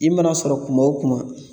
I mana sɔrɔ kuma o kuma